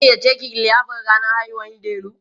an gayyace ki liyafar rannan haihuwar Delu?